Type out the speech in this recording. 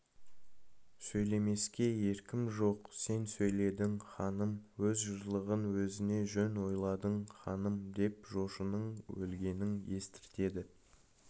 сөйлемеске еркім жоқ сен сөйледің ханым өз жарлығың өзіңе жөн ойладың ханым деп жошының өлгенін естіртеді